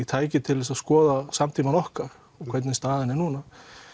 tæki til þess að skoða samtímann okkar hvernig staðan er núna